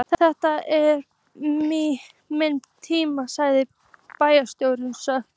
Þetta er minn tími sagði bæjarstjórinn snöggt.